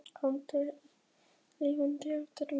Alda yngri er lifandi eftirmynd móður sinnar.